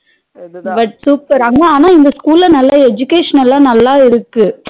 சரி ஆனா இந்த school ல நல்லா education ல நல்லா இருக்கு